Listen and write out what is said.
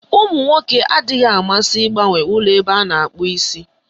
Ụmụ nwoke adịghị amasị ịgbanwe ụlọ ebe a na-akpụ isi.